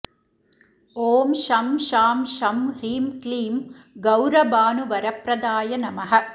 ॐ शं शां षं ह्रीं क्लीं गौरभानुवरप्रदाय नमः